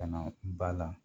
Ka na ba la .